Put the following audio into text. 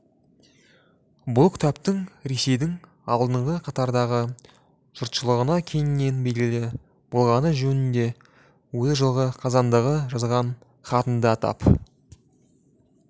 бұл кітаптың ресейдің алдыңғы қатардағы жұртшылығына кеңінен белгілі болғаны жөнінде өзі жылғы қазандағы жазған хатында атап